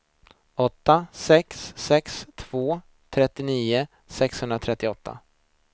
åtta sex sex två trettionio sexhundratrettioåtta